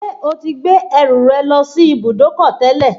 Ṣé o ti gbé ẹrù rẹ lọ sí ibùdókọ̀ tẹ́lẹ̀